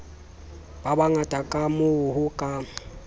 ba bangata kamoo ho ka